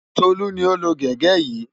Tolú ni ó lo gègé yìí.